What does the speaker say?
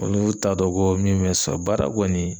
Olu t'a dɔn ko min bɛ sɔn baara kɔni